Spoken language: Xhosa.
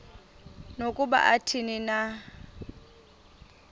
nokuba athini na